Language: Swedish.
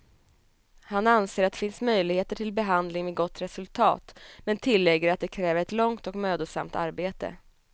Han anser att det finns möjligheter till behandling med gott resultat, men tillägger att det kräver ett långt och mödosamt arbete.